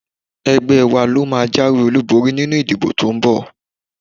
Ẹgbẹ́ wa ló máa jáwé olúborí nínú ìdìbò to ń bọ̀